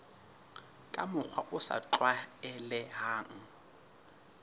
ka mokgwa o sa tlwaelehang